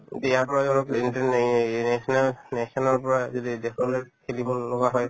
এতিয়া আকৌ নিচিনা national ৰ পৰা যদি দেশলৈ খেলিব লগা হয়